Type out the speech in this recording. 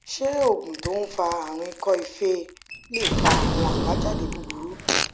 ṣé oògùn tó ń fa àrùn iko ife lè fa àwọn àbájáde búburú